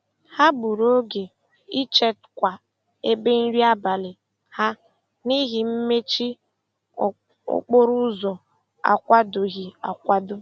Ha gburu oge ịchekwa ebe nri abalị ha n'ihi mmechi okporoụzọ akwadoghị akwado.